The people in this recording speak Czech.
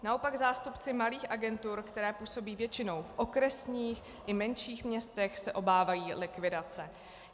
Naopak zástupci malých agentur, které působí většinou v okresních i menších městech, se obávají likvidace.